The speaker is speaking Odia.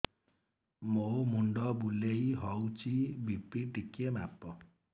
ମୋ ମୁଣ୍ଡ ବୁଲେଇ ହଉଚି ବି.ପି ଟିକେ ମାପ